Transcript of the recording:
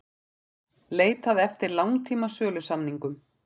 Leitað eftir langtíma sölusamningum